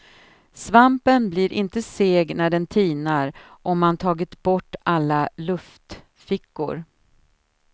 Svampen blir inte seg när den tinar om man tagit bort alla luftfickor.